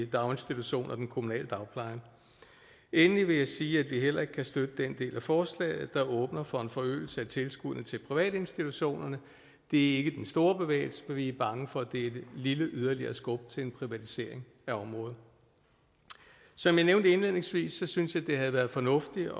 daginstitutioner og den kommunale dagpleje endelig vil jeg sige at vi heller ikke kan støtte den del af forslaget der åbner for en forøgelse af tilskuddet til privatinstitutionerne det ikke den store bevægelse men vi er bange for at det er et lille yderligere skub til en privatisering af området som jeg nævnte indledningsvis synes jeg det havde været fornuftigt at